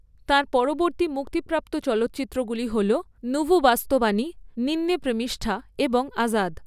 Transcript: তাঁর পরবর্তী মুক্তিপ্রাপ্ত চলচ্চিত্রগুলি হল নুভু বাস্তবাণী, নিন্নে প্রেমিষ্ঠা এবং আজাদ।